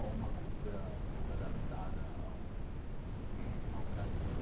ou uma cultura um pouco adaptada ao ao Brasil.